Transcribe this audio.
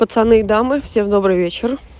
пацаны дамы всем добрый вечер